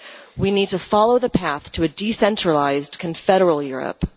We need to follow the path to a decentralised confederal Europe.